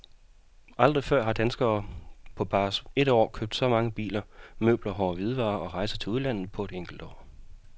Aldrig før har danskerne på bare et år købt så mange nye biler, møbler, hårde hvidevarer og rejser til udlandet på et enkelt år.